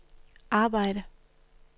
arbejde